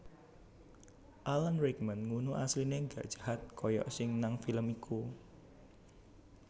Alan Rickman ngunu asline gak jahat koyok sing nang film iku